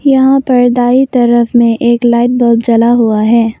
यहां पर दाई तरफ में एक लाइट बल्ब जला हुआ है।